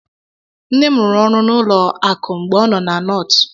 Nne m rụrụ ọrụ na ụlọ akụ mgbe ọ nọ na Nortu.